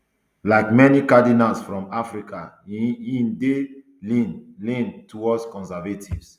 like many cardinals from africa he um dey lean lean towards conservative